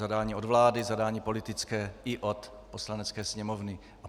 Zadání od vlády, zadání politické i od Poslanecké sněmovny.